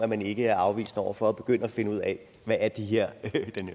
man ikke er afvisende over for at begynde at finde ud af hvad er den her